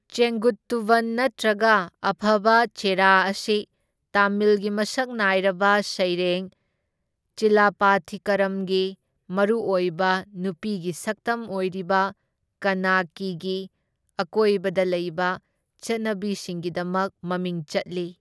ꯆꯦꯡꯒꯨꯠꯇꯨꯚꯟ ꯅꯠꯇ꯭ꯔꯒ ꯑꯐꯕ ꯆꯦꯔꯥ ꯑꯁꯤ ꯇꯥꯃꯤꯜꯒꯤ ꯃꯁꯛ ꯅꯥꯢꯔꯕ ꯁꯩꯔꯦꯡ ꯆꯤꯂꯄꯊꯤꯀꯔꯝꯒꯤ ꯃꯔꯨꯑꯣꯏꯕ ꯅꯨꯄꯤꯒꯤ ꯁꯛꯇꯝ ꯑꯣꯏꯔꯤꯕ ꯀꯟꯅꯀꯤꯒꯤ ꯑꯀꯣꯏꯕꯗ ꯂꯩꯕ ꯆꯠꯅꯕꯤꯁꯤꯡꯒꯤꯗꯃꯛ ꯃꯃꯤꯡ ꯆꯠꯂꯤ꯫